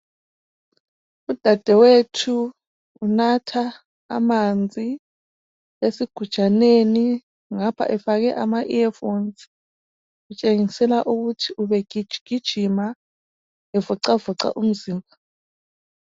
Udadewethu unatha amanzi esigujaneni ngapha efake ama earphones .Kutshengisela ukuthi ubegijigijima evocavoca umzimba.